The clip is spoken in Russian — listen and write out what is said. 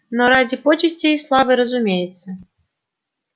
не ради почестей и славы разумеется